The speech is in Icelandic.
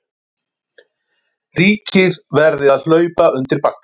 Ríkið verði að hlaupa undir bagga